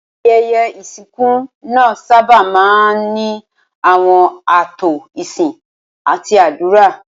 Ayẹyẹ ìsìnkú náà sábà máa ń ní àwọn ààtò ìsìn àti àdúrà.